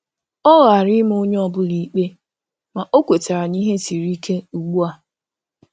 O ghara ịma onye ọ bụla ikpe, ma ọ kwetara na ihe siri ike ugbu a